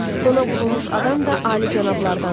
Ona vurulmuş adam da alicənablardandır.